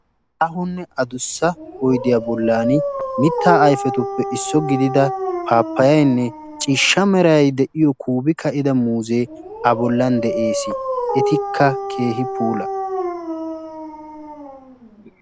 aahonne addussa oyddiya bollan mitta ayfetuppe issuwa gidida pappayenne ciishsha meray de'iyo kuubi ka'ida muuze a bollan de'ees. etikka keehin puula.